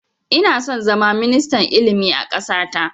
Ina son zama ministan ilimi a ƙasa ta